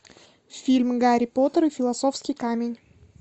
фильм гарри поттер и философский камень